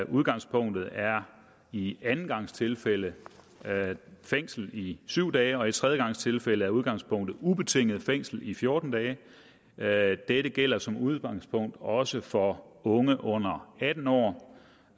udgangspunktet er i andengangstilfælde fængsel i syv dage og i tredjegangstilfælde er udgangspunktet ubetinget fængsel i fjorten dage dage dette gælder som udgangspunkt også for unge under atten år